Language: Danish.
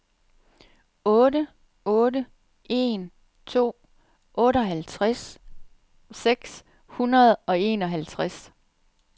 otte otte en to otteoghalvfjerds seks hundrede og enoghalvtreds